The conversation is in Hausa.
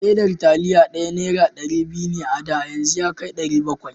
Ledar taliya ɗaya nera ɗari biyu ne a da, yanzu yakai nera ɗari bakwai.